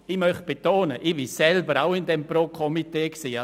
Ich möchte betonen, dass auch ich Mitglied dieses Pro-Tram-Komitees war.